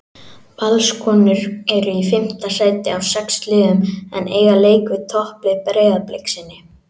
Valskonur eru í fimmta sæti af sex liðum en eiga leik við topplið Breiðabliks inni.